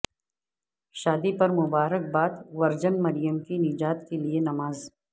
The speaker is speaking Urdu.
شادی پر مبارک باد ورجن مریم کی نجات کے لئے نماز